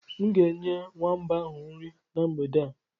M ga-enye nwamba ahụ nri na mgbede a.